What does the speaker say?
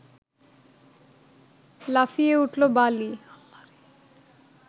লাফিয়ে উঠল বালি